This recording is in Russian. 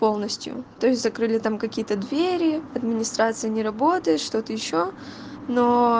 полностью то есть закрыли там какие-то двери администрация не работает что-то ещё но